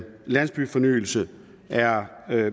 landsbyfornyelse er